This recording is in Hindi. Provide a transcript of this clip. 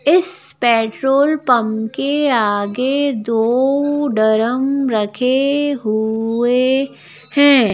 इस पेट्रोल पंप के आगे दो ड्रम रखे हुए हैं।